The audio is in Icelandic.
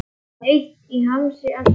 Heitt í hamsi allt í einu.